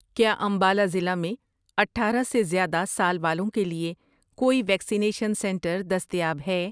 کیا امبالہ ضلع میں اٹھارہ سے زیادہ سال والوں کے لیے کوئی ویکسینیشن سنٹر دستیاب ہے؟